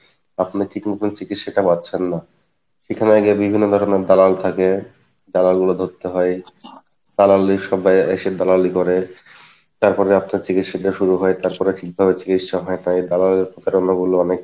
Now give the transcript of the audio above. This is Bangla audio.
আপনার ঠিক মতন চিকিৎসা টা পাচ্ছেন না, সেখানে আগে বিভিন্ন ধরনের দালাল থাকে, দালাল গুলো ধরতে হয়, দালালের এসে দালালি করে তারপরে আপনার চিকিৎসা টা শুরু হয় তারপরে ঠিক ভাবে চিকিৎসা হয় না তাই দালালের কথা বললে অনেক